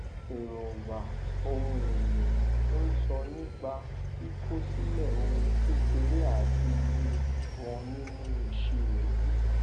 èróńgbà ohun èlò ń sọ nípa kíkọ sílẹ ohun kékeré àti iye won nínú ìṣirò ]b